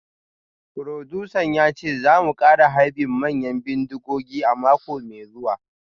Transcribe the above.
Furodusan ya ce za mu kara harbin manyan bindigogi a mako mai zuwa